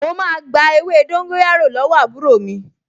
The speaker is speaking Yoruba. Mo máa gba ewé dóńgóyárò lọ́wọ́ àbúrò mi